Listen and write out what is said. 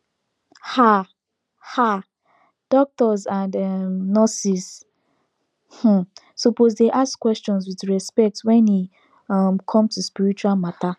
ah ah doctors and um nurses um suppose dey ask questions with respect wen e um come to spiritual matter